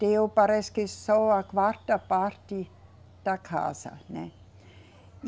Deu, parece que só a quarta parte da casa, né?